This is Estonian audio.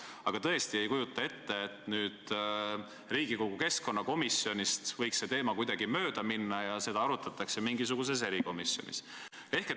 Aga tõesti ei kujuta ette, et Riigikogu keskkonnakomisjonist võiks see teema kuidagi mööda minna ja seda arutataks mingisuguses erikomisjonis.